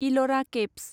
इल'रा caves